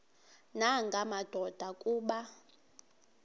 nanga madoda kuba